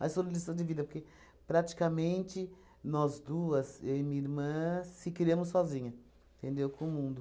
Mas foi lição de vida, porque praticamente nós duas, eu e minha irmã, se criamos sozinha, entendeu, com o mundo.